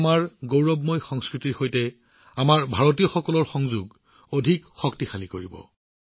ই আমাৰ গৌৰৱময় সংস্কৃতিৰ সৈতে আমাৰ ভাৰতীয়সকলৰ সম্পৰ্ক অধিক শক্তিশালী কৰিব